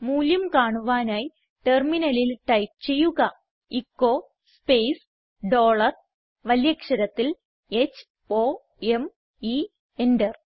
മൂല്യം കാണുവാനായി ടെർമിനലിൽ ടൈപ്പ് ചെയ്യുക എച്ചോ സ്പേസ് ഡോളർ വലിയ അക്ഷരത്തിൽ h o m e enter